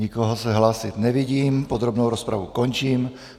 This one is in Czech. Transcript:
Nikoho se hlásit nevidím, podrobnou rozpravu končím.